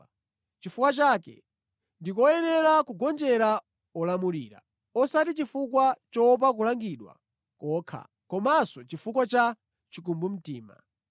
Nʼchifukwa chake ndi koyenera kugonjera olamulira, osati chifukwa choopa kulangidwa kokha komanso chifukwa cha chikumbumtima.